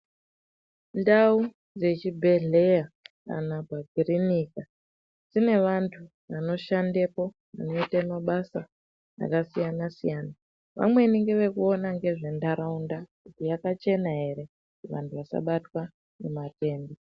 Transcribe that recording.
Ndau dzezvibhehlera kana makiriniki dzine vantu anoshandapo veiite mabasa akasiyana siyana. Vamweni ngevekuona ngezvenharaunda kuti yakachena ere kuti vantu vasabatwa ngematenda